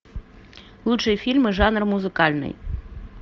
лучшие фильмы жанр музыкальный